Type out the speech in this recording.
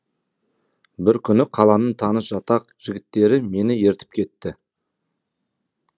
бір күні қаланың таныс жатақ жігіттері мені ертіп кетті